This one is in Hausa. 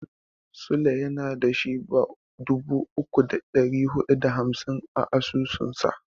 Sule yana da Shiba dubu uku da ɗari huɗu da hamsin a asusunsa.